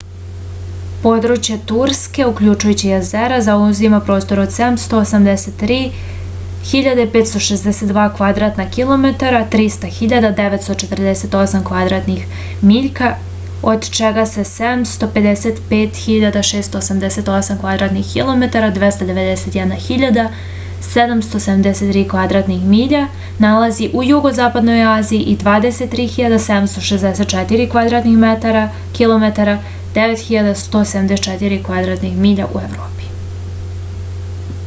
подручје турске укључујући језера заузима простор од 783.562 квадратна километра 300.948 квадратних миљка од чега се 755.688 квадратних километара 291.773 квадратних миља налази у југозападној азији и 23.764 квадратних километара 9174 квадратних миља у европи